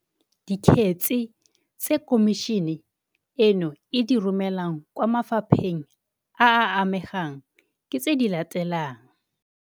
Dikgetse tse Khomišene eno e di romelang kwa mafa pheng a a amegang ke tse di latelang -